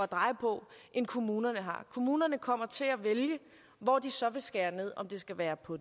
dreje på end kommunerne har kommunerne kommer til at vælge hvor de så vil skære ned om det skal være på